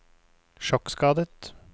sjokkskadet